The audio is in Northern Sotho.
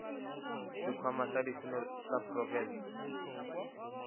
sekhwama sa ditseno sa profense